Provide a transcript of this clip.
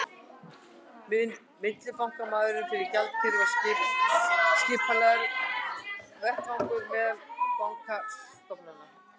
Millibankamarkaður fyrir gjaldeyri er skipulagður vettvangur meðal bankastofnana.